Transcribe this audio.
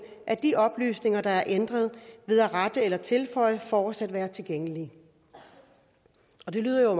af de oplysninger der er ændret ved at rette eller tilføje fortsat være tilgængelig det lyder jo